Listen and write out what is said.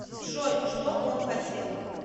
джой что он хотел